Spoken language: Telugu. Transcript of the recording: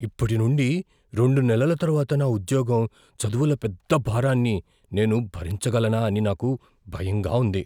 ఇప్పటి నుండి రెండు నెలల తరువాత నా ఉద్యోగం, చదువుల పెద్ద భారాన్ని నేను భరించగలనా అని నాకు భయంగా ఉంది.